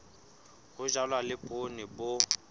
ho jalwa le poone bo